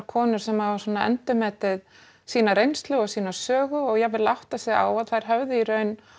konur sem hafa svona endurmetið sína reynslu og sögu og jafnvel áttað sig á að þær höfðu í raun